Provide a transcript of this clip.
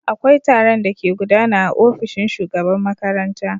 Akwai taron da ke gudana aofishin shugaban makaranta.